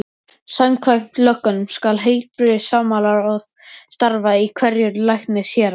Samkvæmt lögunum skal heilbrigðismálaráð starfa í hverju læknishéraði.